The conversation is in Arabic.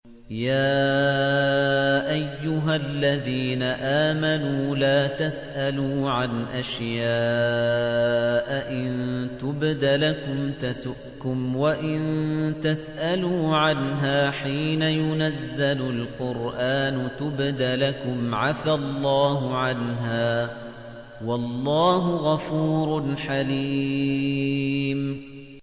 يَا أَيُّهَا الَّذِينَ آمَنُوا لَا تَسْأَلُوا عَنْ أَشْيَاءَ إِن تُبْدَ لَكُمْ تَسُؤْكُمْ وَإِن تَسْأَلُوا عَنْهَا حِينَ يُنَزَّلُ الْقُرْآنُ تُبْدَ لَكُمْ عَفَا اللَّهُ عَنْهَا ۗ وَاللَّهُ غَفُورٌ حَلِيمٌ